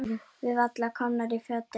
Við varla komnar í fötin.